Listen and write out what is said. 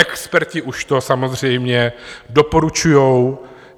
Experti už to samozřejmě doporučují.